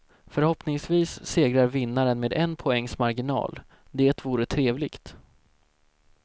Förhoppningsvis segrar vinnaren med en poängs marginal, det vore trevligt.